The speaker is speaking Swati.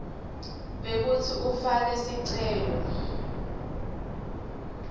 bekutsi ufake sicelo